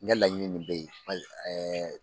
N ka laɲini min bɛ ye